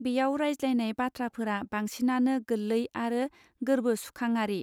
बेयाव रायज्लायनाय बाथ्राफोरा बांसिनानो गोलै आरो गोर्बो सुखाङारि.